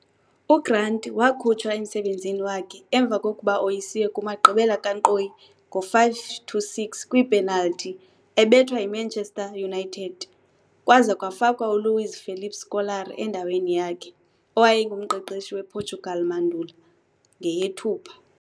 UGrant wakhunjwa emsebenzini wakhe emva kokuba oyisiwe kumagqibela kankqoyi ngo-5-6 kwipenalty ebethwa yi-Manchester United kwaza kwafakwa uLuiz Felipe Scolari endaweni yakhe, owayengumqeqeshi wePortugal mandulo, ngeyeThupha.